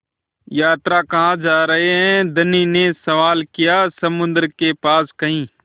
यात्रा कहाँ जा रहे हैं धनी ने सवाल किया समुद्र के पास कहीं